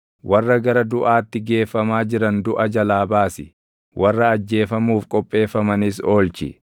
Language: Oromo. Warra gara duʼaatti geeffamaa jiran duʼa jalaa baasi; warra ajjeefamuuf qopheeffamanis oolchi.